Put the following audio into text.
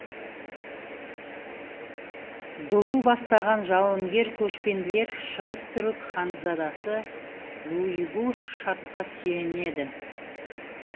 дулу бастаған жауынгер көшпенділер шығыс түрік ханзадасы юйгу шадқа сүйенеді